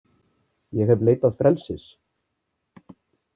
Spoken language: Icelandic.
Ég hef leitað frelsis.